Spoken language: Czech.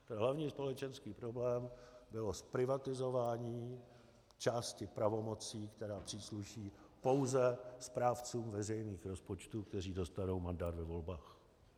Hlavní společenský problém bylo zprivatizování části pravomocí, které přísluší pouze správcům veřejných rozpočtů, kteří dostanou mandát ve volbách.